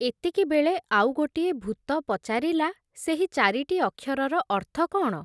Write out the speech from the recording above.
ଏତିକିବେଳେ, ଆଉ ଗୋଟିଏ ଭୂତ ପଚାରିଲା, ସେହି ଚାରିଟି ଅକ୍ଷରର ଅର୍ଥ କଣ ।